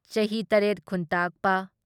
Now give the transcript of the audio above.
ꯆꯍꯤ ꯇꯔꯦꯠ ꯈꯨꯟꯇꯥꯛꯄ